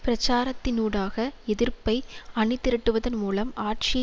பிரசாரத்தினூடாக எதிர்ப்பை அணிதிரட்டுவதன் மூலம் ஆட்சியை